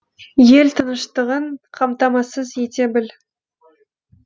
ел тыныштығын қамтамасыз ете біл